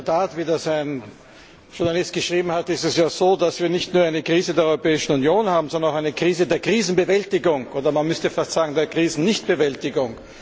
In der Tat, wie das ein Journalist geschrieben hat, ist es ja so, dass wir nicht nur eine Krise der Europäischen Union haben, sondern auch eine Krise der Krisenbewältigung, oder man müsste fast sagen der Krisennichtbewältigung.